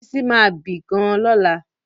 Bísí ma bì gan-an lọ́la